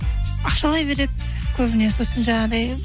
ақшалай береді көбіне сосын жаңағыдай